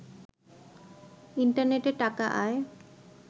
ইন্টারনেটে টাকা আয়